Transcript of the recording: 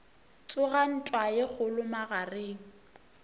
tsoga ntwa ye kgolo magareng